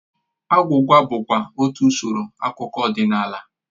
Agwụgwa bụkwa otú usoro akụkọ ọdịnala